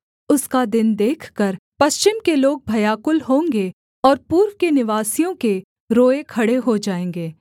उसका दिन देखकर पश्चिम के लोग भयाकुल होंगे और पूर्व के निवासियों के रोएँ खड़े हो जाएँगे